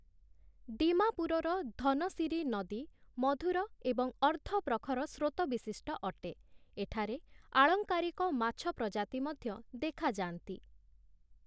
ଦୀମାପୁରର ଧନସୀରୀ ନଦୀ ମଧୁର ଏବଂ ଅର୍ଦ୍ଧପ୍ରଖର ସ୍ରୋତ ବିଶିଷ୍ଟ ଅଟେ । ଏଠାରେ ଆଳଙ୍କାରିକ ମାଛ ପ୍ରଜାତି ମଧ୍ୟ ଦେଖାଯାଆନ୍ତି ।